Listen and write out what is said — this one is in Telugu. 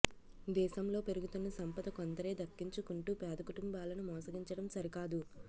దేశంలో పెరుగుతున్న సంపద కొందరే దక్కించుకుంటూ పేద కుటుంబాలను మోసగించడం సరికాదు